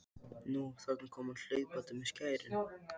Nú, þarna kom hann hlaupandi með skærin.